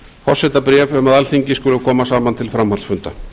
forsetabréf um að alþingi skuli koma saman til framhaldsfunda